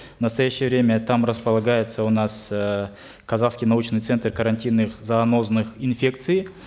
в настоящее время там располагается у нас э казахский научный центр карантинных занозных инфекций